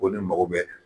Ko ne mako bɛ